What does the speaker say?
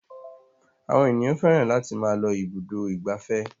Àwọn ènìyàn fẹ́ràn láti máa lọ ibùdó ìgbafẹ́.